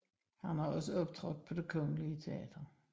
Han har også optrådt på Det kongelige Teater